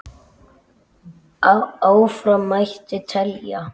Áfram mætti telja.